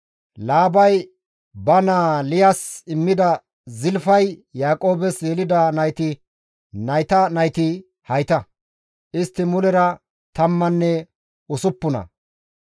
Laabay ba naa Liyas immida Zilfay Yaaqoobes yelida nayti nayta nayti hayta; istti mulera tammanne usuppuna.